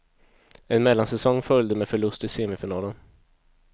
En mellansäsong följde med förlust i semifinalen.